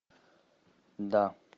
да